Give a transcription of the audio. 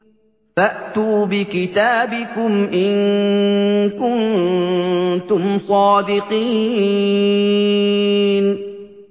فَأْتُوا بِكِتَابِكُمْ إِن كُنتُمْ صَادِقِينَ